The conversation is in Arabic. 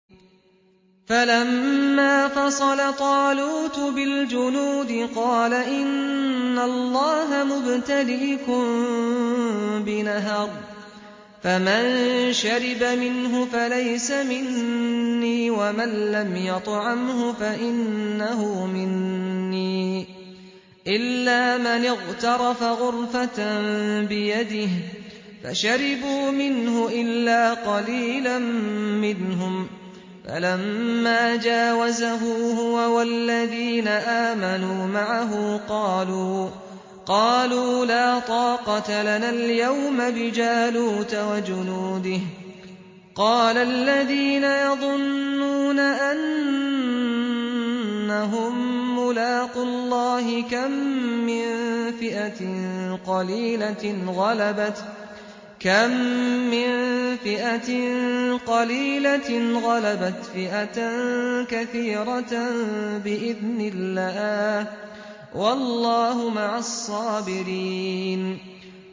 فَلَمَّا فَصَلَ طَالُوتُ بِالْجُنُودِ قَالَ إِنَّ اللَّهَ مُبْتَلِيكُم بِنَهَرٍ فَمَن شَرِبَ مِنْهُ فَلَيْسَ مِنِّي وَمَن لَّمْ يَطْعَمْهُ فَإِنَّهُ مِنِّي إِلَّا مَنِ اغْتَرَفَ غُرْفَةً بِيَدِهِ ۚ فَشَرِبُوا مِنْهُ إِلَّا قَلِيلًا مِّنْهُمْ ۚ فَلَمَّا جَاوَزَهُ هُوَ وَالَّذِينَ آمَنُوا مَعَهُ قَالُوا لَا طَاقَةَ لَنَا الْيَوْمَ بِجَالُوتَ وَجُنُودِهِ ۚ قَالَ الَّذِينَ يَظُنُّونَ أَنَّهُم مُّلَاقُو اللَّهِ كَم مِّن فِئَةٍ قَلِيلَةٍ غَلَبَتْ فِئَةً كَثِيرَةً بِإِذْنِ اللَّهِ ۗ وَاللَّهُ مَعَ الصَّابِرِينَ